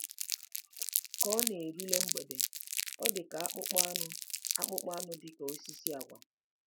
Ka ọ na-erule mgbede, ọ dị ka akpụkpọ anụ akpụkpọ anụ dị ka osisi agwa.